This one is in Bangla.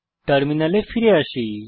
টার্মিনালে ফিরে আসি